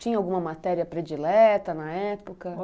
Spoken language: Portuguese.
Tinha alguma matéria predileta na época?